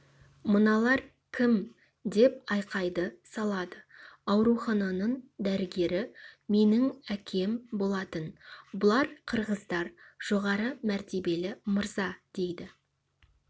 мыналар кім деп айқайды салады аурухананың дәрігері менің әкем болатын бұлар қырғыздар жоғары мәртебелі мырза дейді